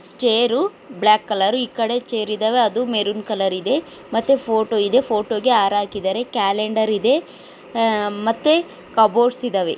Chair black colour ಈ ಕಡೆ chair ಇದವೆ ಅದು ಮೆರೂನ್ ಕಲರ್ ಇದೆ ಮತ್ತೆ ಫೋಟೋ ಇದೆ ಫೋಟೋಗೆ ಆರ ಆಕಿದಾರೆ ಕ್ಯಾಲೆಂಡರ್ ಇದೆ ಆಹ್ ಮತ್ತೆ ಕಬೋರ್ಡ್ಸ್ ಇದಾವೆ.